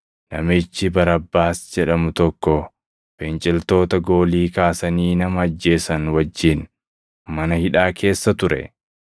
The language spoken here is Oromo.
Namichi Barabbaas jedhamu tokko finciltoota goolii kaasanii nama ajjeesan wajjin mana hidhaa keessa ture.